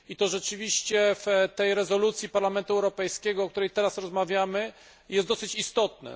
Rzeczywiście w rezolucji Parlamentu Europejskiego, o której teraz rozmawiamy, jest to dosyć istotne.